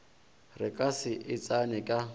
re ka se e tseneka